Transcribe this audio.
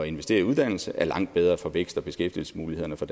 investere i uddannelse er langt bedre for vækst og beskæftigelsesmulighederne for